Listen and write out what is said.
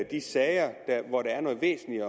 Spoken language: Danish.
de sager hvor der er noget væsentligt